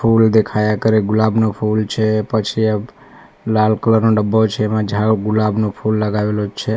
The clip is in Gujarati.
ફૂલ દેખાયા કરે ગુલાબનું ફૂલ છે પછી એ લાલ કલર નો ડબ્બો છે એમાં ઝાળ ગુલાબનો ફૂલ લગાવેલુ છે.